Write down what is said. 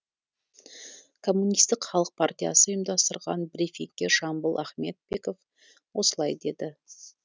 коммунистік халық партиясы ұйымдастырған брифингте жамбыл ахметбеков осылай деді